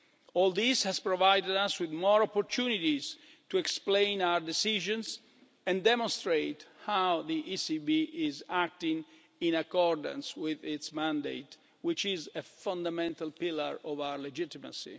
All this has provided us with more opportunities to explain our decisions and demonstrate how the ECB is acting in accordance with its mandate, which is a fundamental pillar of its legitimacy.